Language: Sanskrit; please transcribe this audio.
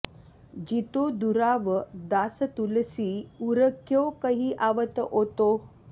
जितो दुराव दासतुलसी उर क्यों कहि आवत ओतो